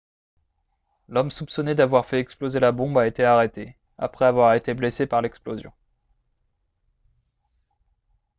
l'homme soupçonné d'avoir fait exploser la bombe a été arrêté après avoir été blessé par l'explosion